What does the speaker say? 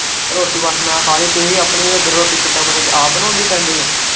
ਰੋਟੀ ਬਸ ਮੈਂ ਖਾਲੀ ਤੁਹੀਂ ਆਪਣੀ ਇੱਧਰ ਰੋਟੀ ਕਿੱਦਾ ਮਤਲਬ ਆਪ ਬਣਾਉਣੀ ਪੈਂਦੀ ਏ।